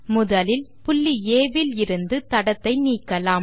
முதலில் புள்ளி ஆ விலிருந்து தடத்தை நீக்கலாம்